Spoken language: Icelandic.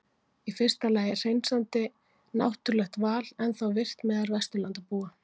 Í fyrsta lagi er hreinsandi náttúrulegt val ennþá virkt meðal Vesturlandabúa.